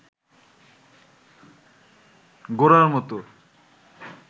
গোরার মতো